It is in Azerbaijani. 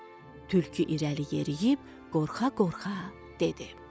Tülkü irəli yeriyib qorxa-qorxa dedi.